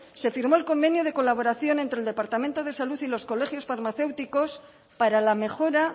se firmó el convenio de colaboración entre el departamento de salud y los colegios farmacéuticos para la mejora